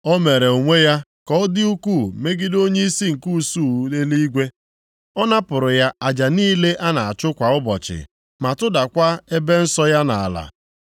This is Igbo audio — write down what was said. O mere onwe ya ka ọ dị ukwuu megide onyeisi nke usuu eluigwe, ọ napụrụ ya aja niile a na-achụ kwa ụbọchị ma tụdakwa ebe nsọ ya nʼala.